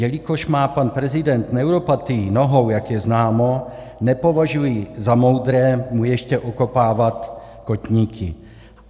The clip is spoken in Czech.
Jelikož má pan prezident neuropatii nohou, jak je známo, nepovažuji za moudré mu ještě okopávat kotníky.